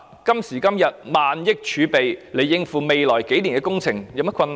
今時今日，政府用萬億元儲備來應付未來數年的工程，也沒有甚麼困難。